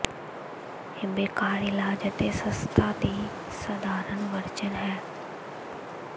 ਇਹ ਬੇਕਾਰ ਇਲਾਜ ਅਤੇ ਸਸਤਾ ਦੀ ਸਧਾਰਨ ਵਰਜਨ ਹੈ